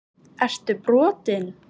Ertu brotinn??!